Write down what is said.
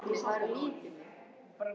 Mánadís, hvenær kemur vagn númer fjögur?